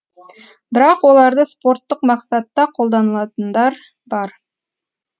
бірақ оларды спорттық мақсатта қолданылатындар бар